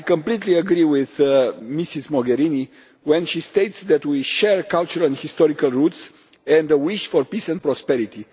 I completely agree with Ms Mogherini when she states that we share cultural and historical roots and a wish for peace and prosperity.